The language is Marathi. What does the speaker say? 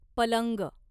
पलंग